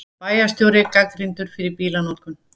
Bæjarstjóri gagnrýndur fyrir bílanotkun